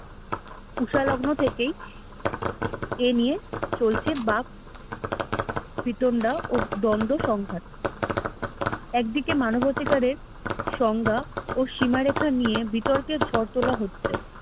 ঊষা লগ্ন থেকেই এ নিয়ে চলছে বাক শীতন্ডা ও দ্বন্দ্ব সংঘাত একদিকে মানবাধিকারের সংজ্ঞা ও সীমারেখার বিতর্ক নিয়ে ঝড় তোলা হচ্ছে